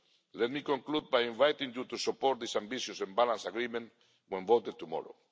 levels. Let me conclude by inviting you to support this ambitious and balanced agreement when voted tomorrow.